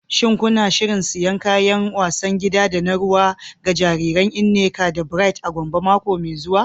Shin kuna shirin siyan kayan wasan gida da na ruwa ga jariran Nneka da Bright a Gombe mako mai zuwa?